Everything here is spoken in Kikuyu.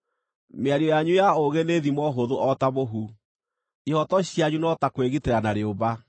Mĩario yanyu ya ũũgĩ nĩ thimo hũthũ o ta mũhu; ihooto cianyu no ta kwĩgitĩra na rĩũmba.